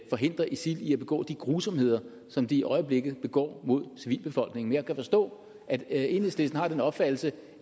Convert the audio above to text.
forhindre isil i at begå de grusomheder som de i øjeblikket begår mod civilbefolkningen jeg kan forstå at enhedslisten har den opfattelse